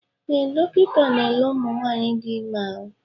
Ee, dọkịta n'ele ụmụ nwanyị dị ime ahụ.